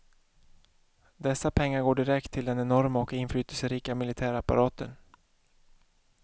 Dessa pengar går direkt till den enorma och inflytelserika militärapparaten.